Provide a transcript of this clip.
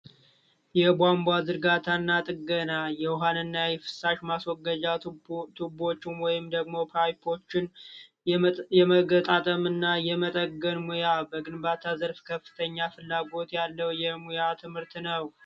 የቧንቧ ዝርጋታ እና ጥገና የውሀን እና የፍሳሽ ማስወገጃ ቱቦዎችን ወይንም ደግሞ ፓይፖችን የመገጣጠም እና የመጠገን ሙያ በግንባታ ዘርፍ ከፍተኛ ፍላጎት ያለው የሙያ ትምህርት ነው።